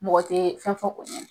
Mɔgɔ tɛ fɛn f'ɔ o ɲɛnɛ